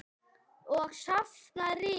Og safna ryki.